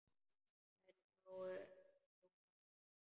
Þær sáu ekki Lóu-Lóu strax.